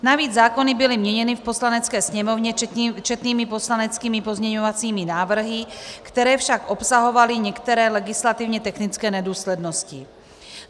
Navíc zákony byly měněny v Poslanecké sněmovně četnými poslaneckými pozměňovacími návrhy, které však obsahovaly některé legislativně technické nedůslednosti.